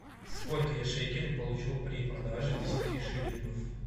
сколько я шекелей получу при продаже десяти шиллингов